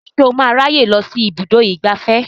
Ṣé o máa ráyè lọ sí ibùdó ìgbafẹ́